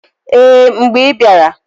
Ee! Mgbe i bịara.